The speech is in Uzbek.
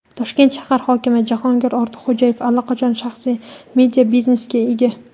Toshkent shahar hokimi Jahongir Ortiqxo‘jayev allaqachon shaxsiy media-biznesiga ega.